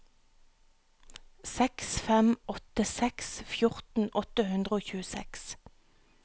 seks fem åtte seks fjorten åtte hundre og tjueseks